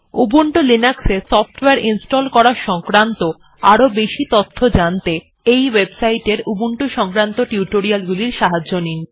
Ubuntu Linux এ software install করা সংক্রান্ত আরও বেশি তথ্য জানতে এই ওয়েবসাইটট এর উবুন্টু সংক্রান্ত স্পোকেন টিউটোরিয়ালগুলির সাহায্য নিন